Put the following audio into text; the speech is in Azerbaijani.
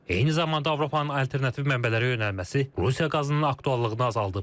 Eyni zamanda Avropanın alternativ mənbələrə yönəlməsi Rusiya qazının aktuallığını azaldıb.